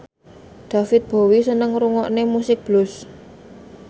David Bowie seneng ngrungokne musik blues